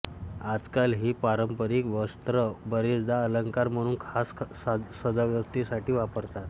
आजकाल ही पारंपारीक वस्त्र बरेचदा अलंकार म्हणून खास सजावटीसाठी वापरतात